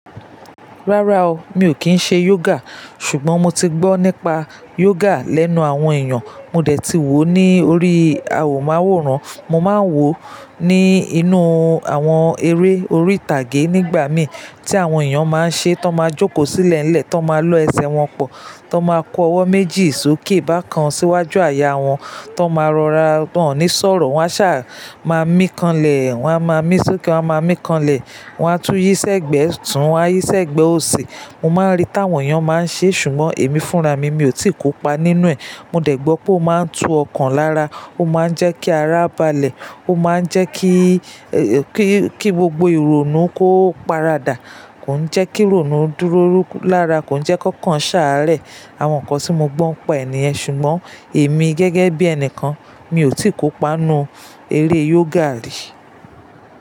Rárá o, mi ò kín ń ṣe yoga. Ṣùgbọ́n mo ti gbọ́ nípa yoga lẹ́nu àwọn èèyàn, mo dẹ̀ ti wò ó ní orí awwòmaworan, mo máa ń wò ó ní inú àwọn eré orí ìtàgé nígbà mí tí àwọn èèyàn máa ń ṣe, tó máa jókòó sílẹ̀ ńlẹ̀, tó máa lọ ẹsẹ̀ wọn pọ̀, tó máa kọ ọwọ́ méjì sókè bákan síwájú àyà wọn, tó máa rọra, wọ́n ò ní sọ̀rọ̀, wọ́n a sá máa míkanlẹ̀, wọ́n a máa mí sókè wọ́n a máa míkanlẹ̀, wọ́n a tún yíṣẹ́ gbẹ̀ ẹ tún, wọ́n a yíṣẹ́ ẹ gbẹ̀ oṣè. Mo máa ń rí tí àwọn èèyàn máa ń ṣe, ṣùgbọ́n èmi fúnra mi, mi ò tí kópa nínú ẹ̀. Mo dẹ̀ gbọ́ pé ó máa ń tu ọkàn lára, ó máa ń jẹ́ kí ara balẹ̀, ó máa ń jẹ́ kí, ẹ́, kí, kí gbogbo ìrònú kó paradà, kò ń jẹ́ kí ìrònú dúró lára, kò ń jẹ́ kí ọkàn sáré. Àwọn nǹkan tí mo gbọ́ ń pa ènìyàn, ṣùgbọ́n èmi gẹ́gẹ́ bí ẹnìkan mi ò tí kópa inú eré yoga rí.